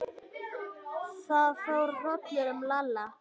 Það fór hrollur um Lalla.